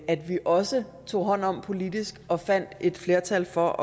at vi også tog hånd om politisk og fandt et flertal for